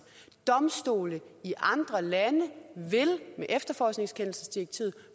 domstole i andre lande vil med efterforskningskendelsesdirektivet